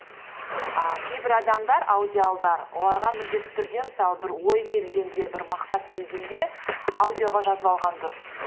ііі кейдір адамдар аудиалдар оларға міндетті түрде мысалы бір ой келгенде бір мақсат келгенде аудиоға жазып алған дұрыс